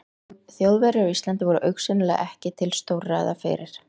Þjóðverjar á Íslandi voru augsýnilega ekki til stórræða fyrir